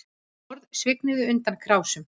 Borð svignuðu undan krásum